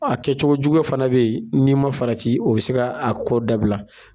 Ɔ a kɛcogoya jugu fana bɛ yen, n'i ma farati o bɛ se k'a ko dabila.